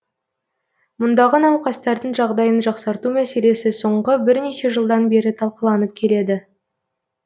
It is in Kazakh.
мұндағы науқастардың жағдайын жақсарту мәселесі соңғы бірнеше жылдан бері талқыланып келеді